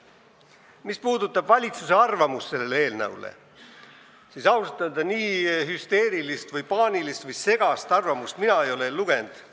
Mis puudutab valitsuse arvamust selle eelnõu kohta, siis ausalt öelda ei ole mina enne nii hüsteerilist, paanilist või segast valitsuse arvamust ühegi eelnõu kohta lugenud.